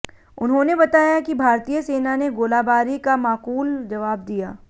उन्होंने बताया कि भारतीय सेना ने गोलाबारी का माकूल जवाब दिया